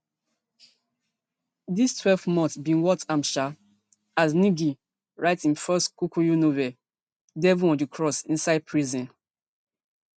di twelve months bin worth am sha as ngg write im first kikuyu novel devil on di cross inside prison